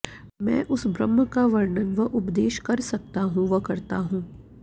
मैं उस ब्रह्म का वर्णन व उपदेश कर सकता हूं व करता हूं